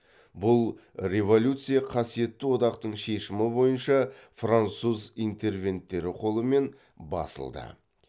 бұл революция қасиетті одақтың шешімі бойынша француз интервенттері қолымен басылды